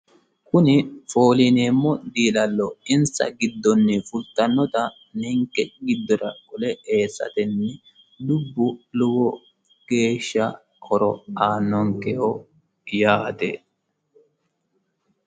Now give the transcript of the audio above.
Kuni foolineemmo diilallo insa giddonni fultanota ninke giddora qole e"esatenni dubbu lowo geesha horo aannonkeho yaate.